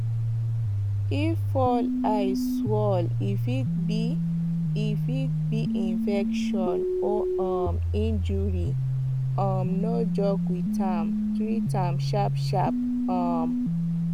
if fowl eye swell e fit be e fit be infection or um injury um no joke with am treat am sharpsharp um